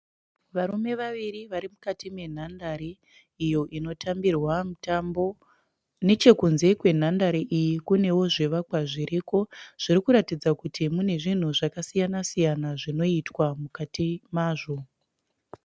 Varume vaviri vari mukati menhandare iyo inotambirwa mutambo. Nechekunze kwenhandare iyi kunewo zvivakwa zviriko zvirikuratidza kuti mune zvinhu zvakasiyana siyana zvinoitwa mukati mazvo.